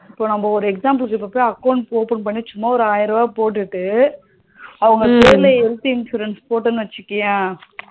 இப்போ நம்ம ஒரு example க்கு account open பண்ணி சும்மா ஒரு ஆயிரம் ரூபா போட்டுட்டு அவங்க பேர்ல health insurance போட்டோனு வச்சுக்கோயே